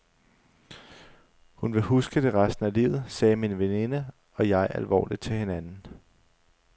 Hun vil huske det resten af livet, sagde min veninde og jeg alvorligt til hinanden.